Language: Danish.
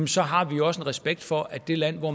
så har vi også en respekt for at det land hvor